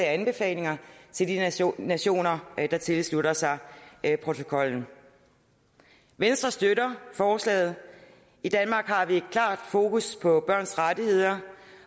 anbefalinger til de nationer nationer der tilslutter sig protokollen venstre støtter forslaget i danmark har vi klart fokus på børns rettigheder